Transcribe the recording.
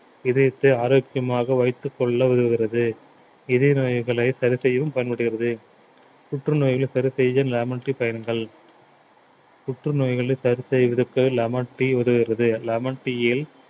இதயத்தை ஆரோக்கியமாக வைத்துக் கொள்ள உதவுகிறது இதய நோய்களை சரி செய்யவும் பயன்படுகிறது புற்றுநோய்களை சரி செய்து lemon tea பயன்கள் புற்றுநோய்களை சரி செய்வதற்கு lemon tea உதவுகிறது lemon tea இல்